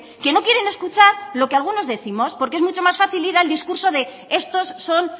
que no quieren escuchar lo que algunos décimos porque es mucho más fácil ir al discurso de estos son